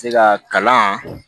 Se ka kalan